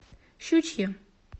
щучье